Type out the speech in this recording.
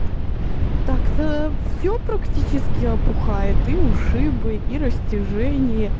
так-то все практически опухает и ушибы и растяжения